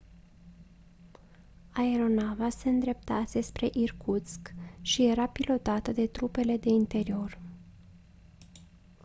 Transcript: aeronava se îndreptase spre irkutsk și era pilotată de trupele de interior